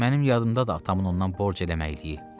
Mənim yadımdadır atamın ondan borc eləməyiliyi.